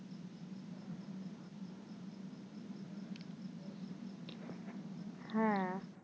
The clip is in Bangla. হ্যাঁ